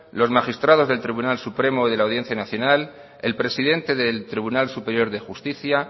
los magistrados del tribunal supremo y de la audiencia nacional el presidente del tribunal superior de justicia